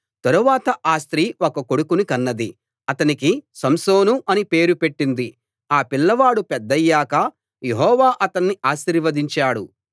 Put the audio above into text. తరువాత ఆ స్త్రీ ఒక కొడుకుని కన్నది అతనికి సంసోను అనే పేరు పెట్టింది ఆ పిల్లవాడు పెద్దయ్యాక యెహోవా అతణ్ణి ఆశీర్వదించాడు